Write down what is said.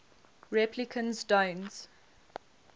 replicants don't